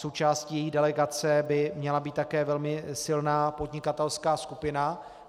Součástí její delegace by měla být také velmi silná podnikatelská skupina.